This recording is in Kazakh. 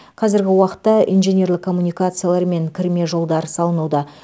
қазіргі уақытта инженерлік коммуникациялар мен кірме жолдар салынуда